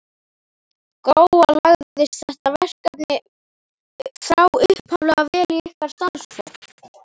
Gróa, lagðist þetta verkefni frá upphafi vel í ykkar starfsfólk?